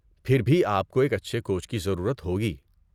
پھر بھی آپ کو ایک اچھے کوچ کی ضرورت ہوگی۔